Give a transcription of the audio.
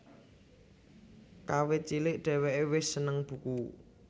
Kawit cilik dheweke wis seneng buku